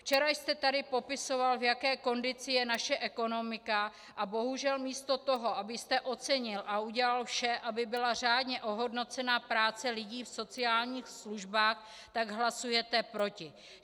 Včera jste tady popisoval, v jaké kondici je naše ekonomika, a bohužel místo toho, abyste ocenil a udělal vše, aby byla řádně ohodnocena práce lidí v sociálních službách, tak hlasujete proti.